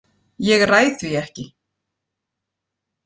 Ég ræð því ekki.